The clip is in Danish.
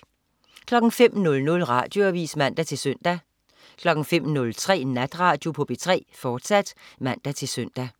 05.00 Radioavis (man-søn) 05.03 Natradio på P3, fortsat (man-søn)